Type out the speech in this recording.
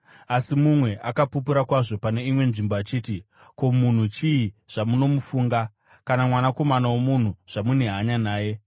Asi mumwe akapupura kwazvo pane imwe nzvimbo achiti: “Ko, munhu chii zvamunomufunga, kana mwanakomana womunhu zvamune hanya naye?